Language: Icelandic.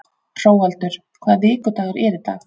Hróaldur, hvaða vikudagur er í dag?